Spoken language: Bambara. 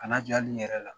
Kana jɔ ali n yɛrɛ la